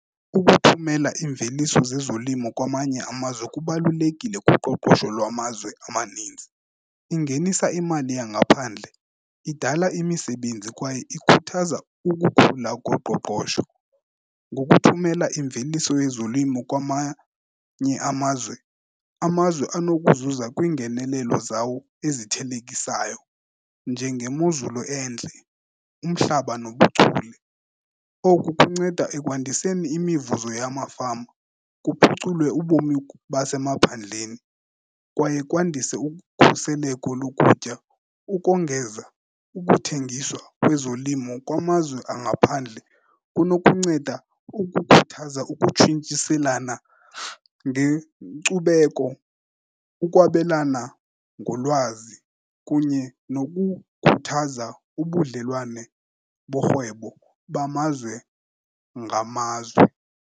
Ukuthumela iimveliso zezolimo kwamanye amazwe kubalulekile kuqoqosho lwamazwe amaninzi. Ingenisa imali yangaphandle, idala imisebenzi kwaye ikhuthaza ukukhula koqoqosho. Ngokuthumela imveliso yezolimo kwamanye amazwe, amazwe anokuzuza kwiingenelelo zawo ezithelekisayo njengemozulu entle, umhlaba nobuchule. Oku kunceda ekwandiseni imivuzo yamafama, kuphuculwe ubomi basemaphandleni kwaye kwandise ukukhuseleko lokutya. Ukongeza, ukuthengiswa kwezolimo kwamazwe angaphandle kunokunceda ukukhuthaza ukutshintshiselana ngenkcubeko, ukwabelana ngolwazi kunye nokukhuthaza ubudlelwane borhwebo bamazwe ngamazwe.